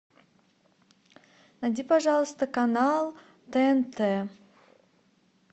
найди пожалуйста канал тнт